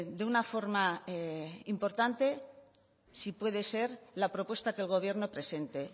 de una forma importante si puede ser la propuesta que el gobierno presente